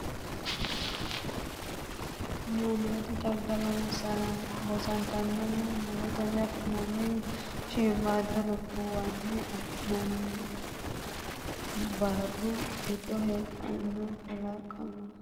Yannitte xagga loosantannohu mu’rotenni afi’nannihunni, shiimmaadda lubbuwanni afi’nannihunni, baaru giddo heedhanno kalaqamanninna saa datenni afi’nannihunniti, Msile aana la’inannihu daa”ataano halchishannohu maricho?